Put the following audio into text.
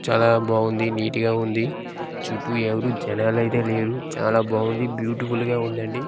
చాలా బావుంది నీట్ గా ఉంది చుట్టూ ఎవరు జనాలు అయితే లేరు చాలా బావుంది బ్యూటిఫుల్ గా ఉందండీ.